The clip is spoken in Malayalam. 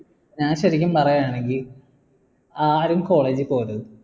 ഞാൻ ശരിക്കും പറയാണെങ്കി ആരും college ൽ പോവരുത്